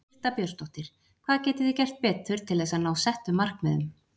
Birta Björnsdóttir: Hvað getið þið gert betur til þess að ná settum markmiðum?